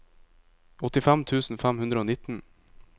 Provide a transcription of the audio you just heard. åttifem tusen fem hundre og nitten